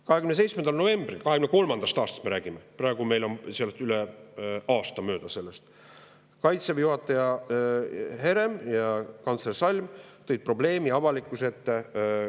27. novembril – me räägime 2023. aastast, sellest on üle aasta möödas – tõid Kaitseväe juhataja Herem ja kantsler Salm Vikerraadios probleemi avalikkuse ette.